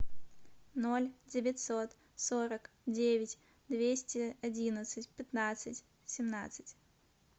ноль девятьсот сорок девять двести одиннадцать пятнадцать семнадцать